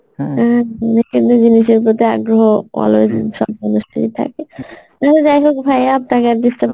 কেন্দ্রিক জিনিষের প্রতি আগ্রহ always সব মানুষেরই থাকে তবে যাইহোক ভাইয়া আপনাকে আর disturb